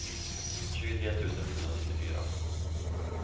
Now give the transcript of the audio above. tjugotre tusen sjuhundranittiofyra